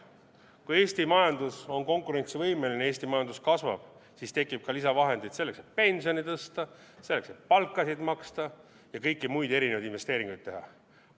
Kui Eesti majandus on konkurentsivõimeline, Eesti majandus kasvab, siis tekib ka lisavahendeid selleks, et pensioni tõsta, selleks, et palkasid maksta ja kõiki muid erinevaid investeeringuid teha.